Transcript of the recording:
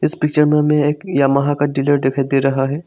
इस पिक्चर में हमें एक यामाहा का डीलर दिखाई दे रहा है।